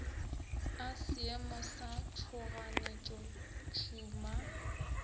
a seemo sa tšhoganetšo tšhuma